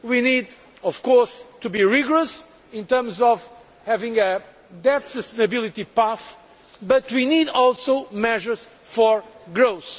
We need of course to be rigorous in terms of having a debt sustainability path, but we also need measures for growth.